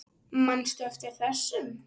Manstu eftir þessum?